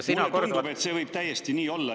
Mulle tundub, et see võib täiesti nii olla.